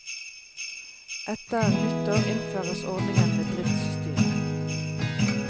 Etter nyttår innføres ordningen med driftsstyre.